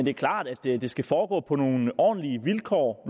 er klart at det skal foregå på nogle ordentlige vilkår